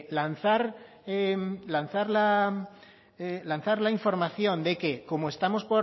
lanzar la información de que